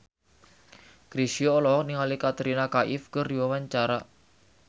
Chrisye olohok ningali Katrina Kaif keur diwawancara